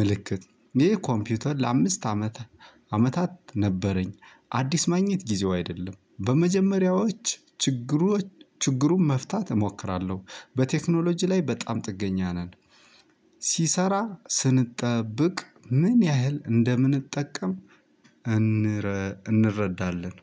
ምልክት ይህ ኮምፒውተር ለአምስት አመት አመታት ነበረኝ። አዲስ ማግኘት ጊዜው አይደለም። በመጀመሪያዎች ችግሩ ችግሩን መፍታት እሞክራለሁ። በቴክኖሎጂ ላይ በጣም ጥገኛ ነን። ሲሰራ ስንጠብቅ ምን ያህል እንደምንጠቀም እንረ እንረዳለን